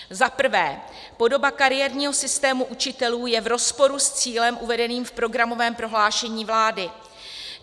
Za prvé, podoba kariérního systému učitelů je v rozporu s cílem uvedeným v programovém prohlášení vlády.